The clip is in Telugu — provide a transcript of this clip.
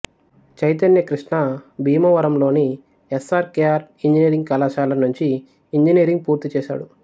చైతన్య కృష్ణ భీమవరం లోని S R K R engineering కళాశాల నుంచి ఇంజనీరింగ్ పూర్తి చేశాడు